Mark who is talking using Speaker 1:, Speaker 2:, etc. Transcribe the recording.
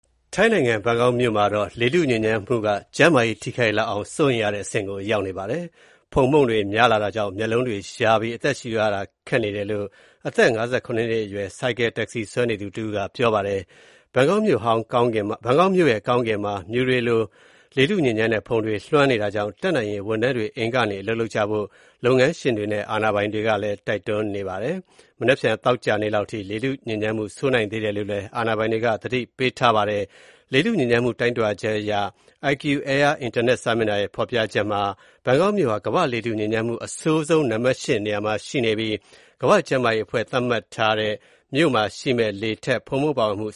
Speaker 1: ထိုင်းနိုင်ငံ ဘန်ကောက်မြို့မှာ လေထုညစ်ညမ်းမှုအခြေအနေက ကျန်းမာရေးထိခိုက်လောက်အောင် စိုးရိမ်ရတဲ့အဆင့်အထိ ရောက်နေပါတယ်။ ဖုန်မှုန့်တွေများတာကြောင့် မျက်လုံးတွေ ယားပြီး အသက်ရှူရတာ ခက်နေတယ်လို့ အသက် ၅၇ နှစ်အရွယ် ဆိုင်ကယ်တက္ကစီဆွဲသူ တယောက်က ပြောပြပါတယ်။ ဘန်ကောက်မြို့ကောင်းကင်မှာ မြူတွေလို လေထုညစ်ညမ်းတဲ့ ဖုန်တွေ လွှမ်းနေတာကြောင့် တတ်နိုင်ရင် ဝန်ထမ်းတွေ အိမ်ကနေ အလုပ်လုပ်ကြဖို့ လုပ်ငန်းရှင်တွေနဲ့ အာဏာပိုင်တွေက တိုက်တွန်းထားပါတယ်။ မနက်ဖြန် သောကြာနေ့လောက်ထိ လေထုညစ်ညမ်းမှု ဆိုးနိုင်သေးတယ်လို့ အာဏာပိုင်တွေက သတိပေးထားပါတယ်။ လေထုညစ်ညမ်းမှု တိုင်းထွာချက် IQ Air အင်တာနက်စာမျက်နှာရဲ့ ဖော်ပြချက်အရ ဘန်ကောက်မြို့ဟာ ကမ္ဘာ့လေထုညစ်ညမ်းမှု အဆိုးဆုံးနံပတ် ၈ နေရာမှာ ရှိနေပြီး ကမ္ဘာ့ကျန်းမာရေးအဖွဲ့ WHO က သတ်မှတ်ထားတဲ့ မြို့တခုမှာ ရှိရမယ့် လေထဲ ဖုန်မှုန့်ပါဝင်မှု